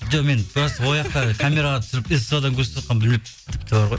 жоқ мен камераға түсіріп ств дан көрсетіватқанынын білмеппін тіпті бар ғой